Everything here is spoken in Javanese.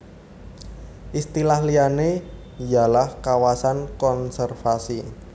Istilah liyane yalah kawasan konservasi